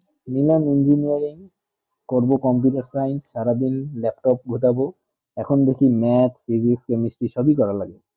নিলাম engineering করবো computer science সারা দিন laptop গজাবে এখন দেখি math physics chemistry সব ই করা লাগে